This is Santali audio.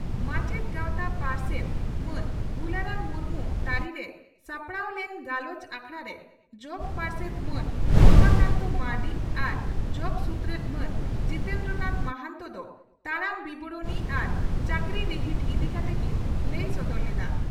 ᱢᱟᱪᱮᱛ ᱜᱟᱣᱛᱟ ᱯᱟᱨᱥᱮᱛ ᱢᱟᱱ ᱜᱩᱞᱟᱨᱟᱢ ᱢᱩᱨᱢᱩ ᱛᱟᱹᱨᱤᱨᱮ ᱥᱟᱯᱲᱟᱣ ᱞᱮᱱ ᱜᱟᱞᱚᱪ ᱟᱠᱷᱲᱟᱨᱮ ᱡᱚᱜᱚ ᱯᱟᱨᱥᱮᱛ ᱢᱟᱱ ᱨᱚᱢᱟᱠᱟᱱᱛᱚ ᱢᱟᱨᱱᱰᱤ ᱟᱨ ᱡᱚᱜᱚ ᱥᱩᱛᱨᱮᱛ ᱢᱟᱱ ᱡᱤᱛᱮᱱᱫᱨᱚ ᱱᱟᱛᱷ ᱢᱟᱦᱟᱱᱛᱚ ᱫᱚ ᱛᱟᱲᱟᱢ ᱵᱤᱵᱚᱨᱚᱬᱤ ᱟᱨ ᱪᱟᱹᱠᱨᱤ ᱨᱤᱦᱤᱴ ᱤᱫᱤ ᱠᱟᱛᱮ ᱠᱤᱱ ᱞᱟᱹᱭ ᱥᱚᱫᱚᱨ ᱞᱮᱫᱼᱟ ᱾